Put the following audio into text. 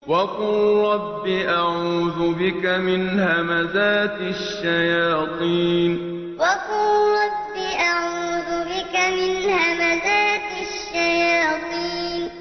وَقُل رَّبِّ أَعُوذُ بِكَ مِنْ هَمَزَاتِ الشَّيَاطِينِ وَقُل رَّبِّ أَعُوذُ بِكَ مِنْ هَمَزَاتِ الشَّيَاطِينِ